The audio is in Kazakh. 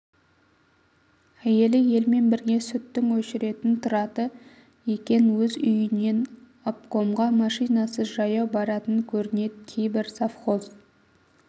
әйелі елмен бірге сүттің өшіретін тұрады екен өз үйінен обкомға машинасыз жаяу баратын көрнед кейбр совхоз